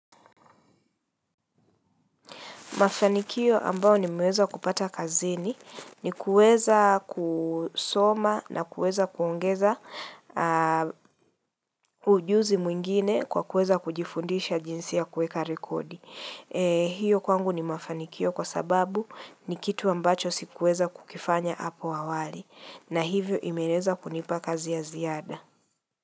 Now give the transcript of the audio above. Mafanikio ambayo nimeweza kupata kazini ni kuweza kusoma na kuweza kuongeza ujuzi mwingine kwa kuweza kujifundisha jinsi ya kueka rekodi. Hiyo kwangu ni mafanikio kwa sababu ni kitu ambacho sikuweza kukifanya hapo awali na hivyo imeweza kunipa kazi ya ziada.